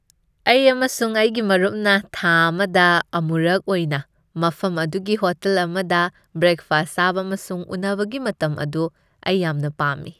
ꯑꯩ ꯑꯃꯁꯨꯡ ꯑꯩꯒꯤ ꯃꯔꯨꯞꯅ ꯊꯥ ꯑꯃꯗ ꯑꯃꯨꯔꯛ ꯑꯣꯏꯅ ꯃꯐꯝ ꯑꯗꯨꯒꯤ ꯍꯣꯇꯦꯜ ꯑꯃꯗ ꯕ꯭ꯔꯦꯛꯐꯥꯁ ꯆꯥꯕ ꯑꯃꯁꯨꯡ ꯎꯅꯕꯒꯤ ꯃꯇꯝ ꯑꯗꯨ ꯑꯩ ꯌꯥꯝꯅ ꯄꯥꯝꯃꯤ ꯫